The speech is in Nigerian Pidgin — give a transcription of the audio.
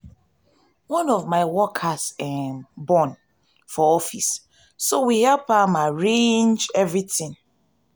one of my workers um born for office so we help um arrange everything.